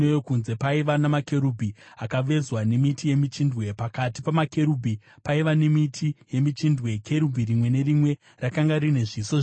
paiva namakerubhi akavezwa nemiti yemichindwe. Pakati pamakerubhi paiva nemiti yemichindwe. Kerubhi rimwe nerimwe rakanga rine zviso zviviri: